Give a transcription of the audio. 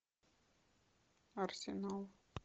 арсенал